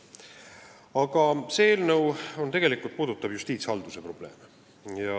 Aga see eelnõu käsitleb tegelikult justiitshalduse probleeme.